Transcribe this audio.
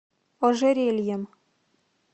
ожерельем